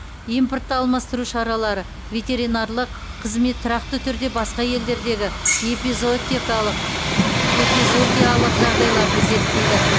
импортты алмастыру шаралары ветеринарлық қызмет тұрақты түрде басқа елдердегі эпизоотикалық эпизоотиялық жағдайларды зерттейді